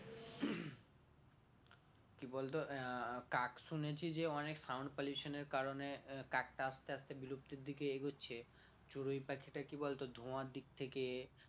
কি বলতো আহ কাক শুনেছি যে অনেক sound pollution এর কারনে আহ কাকটা আস্তে আস্তে বিলুপ্ত এর দিকে এগোচ্ছে চড়ুই পাখিটা কি বলতো ধোয়ার দিক থেকে